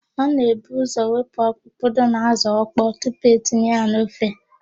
A na-ebu ụ́zọ̀ wepụ ọkpụkpụ dị n'ázụ̀ ọkpọọ tupu etinye ya n'ofe.